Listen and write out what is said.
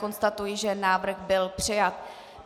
Konstatuji, že návrh byl přijat.